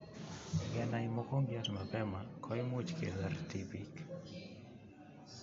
Ngenai mokongiot mapema koimuch kesor tipiik